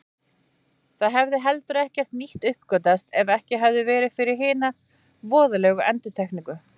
Það hefði heldur ekkert nýtt uppgötvast ef ekki hefði verið fyrir hina voðalegu endurtekningu.